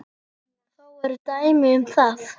Þó eru dæmi um það.